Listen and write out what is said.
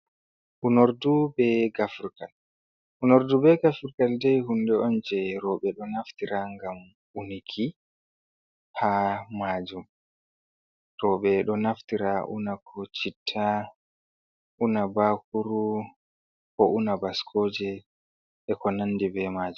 Unardu be gafurgal, unardu be gafurgal dai hunde onje roɓe ɗo naftira ngam uniki ha majum, roɓe ɗo naftira una ko citta, una bakuru, ko una bascoje, e konandi b majum.